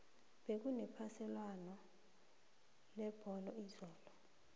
bekune phaliswano lebholo izolo